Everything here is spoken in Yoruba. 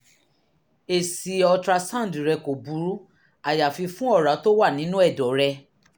èsì ultrasound rẹ kò burú àyàfi fún ọ̀rá tó wà nínú ẹ̀dọ̀ rẹ